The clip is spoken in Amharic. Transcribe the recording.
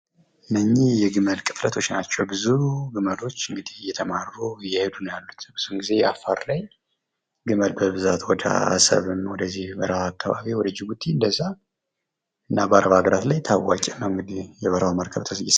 እነዚህ የግመል መንጋዎች ናቸው እንግዲህ። ብዙ ግመሎች እየተማሩ እየሄዱ ነው ያሉት። ብዙ ጊዜ አፋር ላይ ግመል በብዛት ወደ አሰብም ወደዚህ በረሀው አካባቢ ወደ ጅቡቲ እንደዛ በረሀ ሀገራት ላይ ታዋቂ ነው።